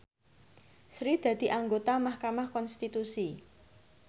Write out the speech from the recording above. Sri dadi anggota mahkamah konstitusi